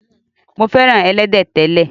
Mo fẹ́ràn ẹlẹ́dẹ̀ tẹ́lẹ̀.